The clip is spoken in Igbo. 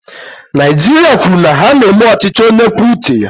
Naijiria kwuru na ha na-eme ọchịchị onye kwuo uche ya.